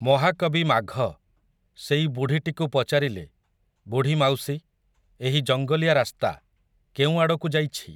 ମହାକବି ମାଘ, ସେଇ ବୁଢ଼ୀଟିକୁ ପଚାରିଲେ, ବୁଢ଼ୀମାଉସୀ, ଏହି ଜଙ୍ଗଲିଆ ରାସ୍ତା, କେଉଁ ଆଡ଼କୁ ଯାଇଛି ।